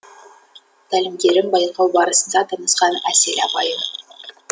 тәлімгерім байқау барысында танысқан әсел апайым